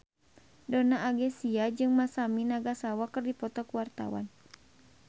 Donna Agnesia jeung Masami Nagasawa keur dipoto ku wartawan